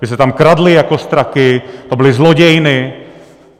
Že se tam kradlo jako straky, to byly zlodějny.